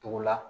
Togo la